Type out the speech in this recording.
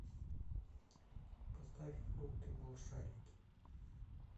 поставь фрукты малышарики